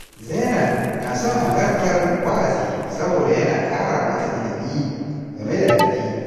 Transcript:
Zainab na son halartar wa’azi saboda yana kara mata ilimi game da addini.